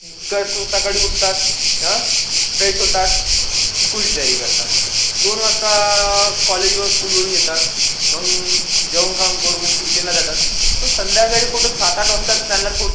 काल सकाळी उठतात आह फ्रेश होतात स्कूल जायला तय्यारी करतात. धोन वाजता अह कॉलेज व स्कूलवरुण येतात आह जेव्हा काम करू ट्यूशनला जातथ संध्याकाळी कोटा त्यांना थोडा.